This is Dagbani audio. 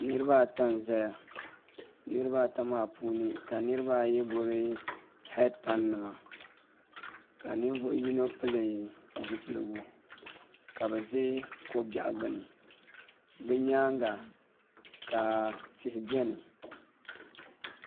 Niraba ata n ʒɛya niraba ata maa puuni ka niraba ayi gbubi heed pai nima ka ninvuɣu yino pili zipiligu ka bi biɛ ko biɛɣu gbuni bi nyaanga ka tihi biɛni